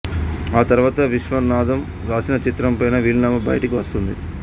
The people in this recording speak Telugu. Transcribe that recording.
ఆ తరువాత విశ్బనాథం రాసిన చిత్రమైన వీలునామా బయటికి వస్తుంది